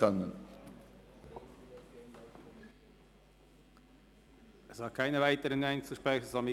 Es haben sich keine weiteren Einzelsprecher mehr gemeldet.